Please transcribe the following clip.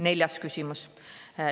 Neljas küsimus.